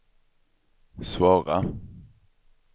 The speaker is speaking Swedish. svåra